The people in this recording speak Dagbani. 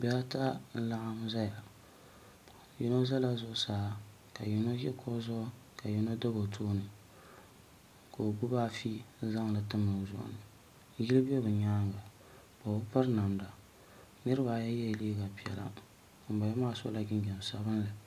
Bihi ata n laɣam ʒɛya yino ʒɛla zuɣusaa ka yino ʒi kuɣu zuɣuka yino dabi o tooni ka o gbubi afi n zaŋdi timdi o zuɣu ni yino bɛ bi nyaanga o bi piri namda niraba ayi yɛla liiga piɛla ŋunboŋo maa sola jinjɛm sabinli